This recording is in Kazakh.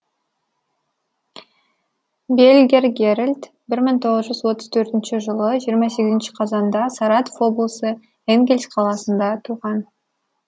бельгер герольд бір мың тоғыз жүз отыз төртінші жылы жиырма сегізінші қазанда саратов облысы энгельс қаласында туған